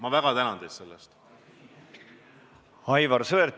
Aivar Sõerd, palun!